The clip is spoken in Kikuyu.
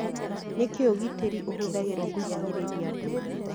Nĩkĩĩ ũgitĩri ũhũthagĩrũo kũhinyĩrĩria andũ